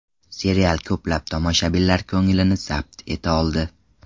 Serial ko‘plab tomoshabinlar ko‘nglini zabt eta oldi.